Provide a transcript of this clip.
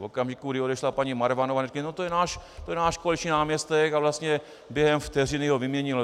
V okamžiku, kdy odešla paní Marvanová, řekli "no to je náš koaliční náměstek" a vlastně během vteřiny ho vyměnila.